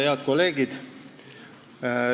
Head kolleegid!